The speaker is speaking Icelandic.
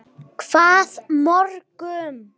Hvað mörgum?